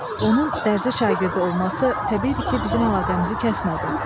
Onun dərzi şagirdi olması təbiidir ki, bizim əlaqəmizi kəsmədi.